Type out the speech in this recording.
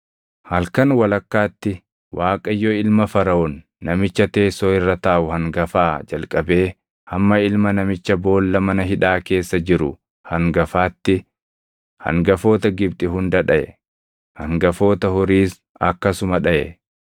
Halkan walakkaatti Waaqayyo ilma Faraʼoon namicha teessoo irra taaʼu hangafaa jalqabee hamma ilma namicha boolla mana hidhaa keessa jiru hangafaatti hangafoota Gibxi hunda dhaʼe; hangafoota horiis akkasuma dhaʼe.